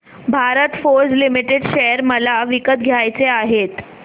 Bharat Forge limited share मला विकत घ्यायचे आहेत